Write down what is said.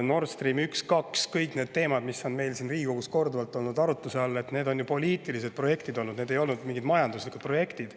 Nord Stream 1 ja 2 ning kõik need teemad, mis on meil siin Riigikogus korduvalt olnud arutluse all – need on ju poliitilised projektid olnud, need ei olnud mingid majanduslikud projektid.